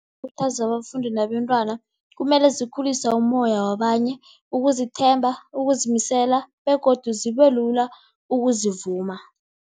Ukukhuthaza abafundi nabentwana, kumele zikhulise umoya wabanye, ukuzithemba, ukuzimisela begodu zibelula ukuzivuma.